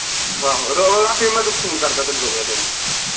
ਆਹੋ ਮੈਂ ਤੈਨੂੰ phone ਕਰਦਾ ਤੈਨੂੰ ਰੁਕ ਜਾ ਦੋ ਮਿੰਟ